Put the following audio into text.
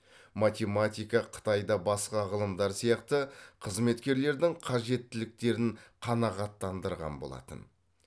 математика қытайда басқа ғылымдар сияқты қызметкерлердің қажеттіліктерін қанағаттандырған болатын